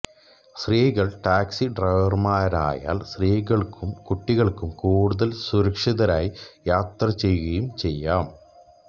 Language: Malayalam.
സ്ത്രീകൾ ടാക്സി ഡ്രൈവർമാരായാൽ സ്ത്രീകൾക്കും കുട്ടികൾക്കും കൂടുതൽ സുരക്ഷിതരായി യാത്ര ചെയ്യുകയും ചെയ്യാം